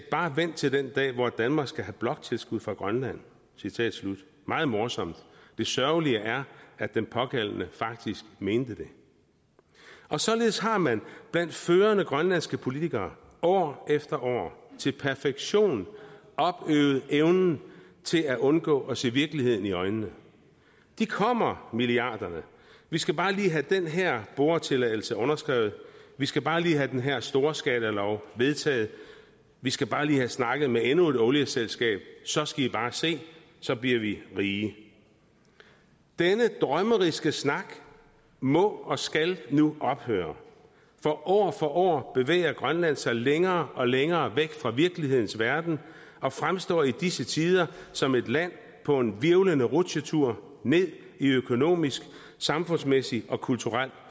bare vent til den dag hvor danmark skal have bloktilskud fra grønland meget morsomt det sørgelige er at den pågældende faktisk mente det således har man blandt førende grønlandske politikere år efter år til perfektion opøvet evnen til at undgå at se virkeligheden i øjnene de kommer milliarderne vi skal bare lige have den her boretilladelse underskrevet vi skal bare lige have den her storskalalov vedtaget vi skal bare lige have snakket med endnu et olieselskab så skal i bare se så bliver vi rige denne drømmeriske snak må og skal nu ophøre for år for år bevæger grønland sig længere og længere væk fra virkelighedens verden og fremstår i disse tider som et land på en hvirvlende rutsjetur ned i økonomisk samfundsmæssigt og kulturelt